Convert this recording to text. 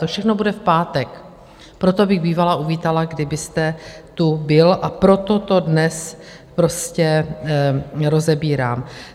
To všechno bude v pátek, proto bych bývala uvítala, kdybyste tu byl, a proto to dnes prostě rozebírám.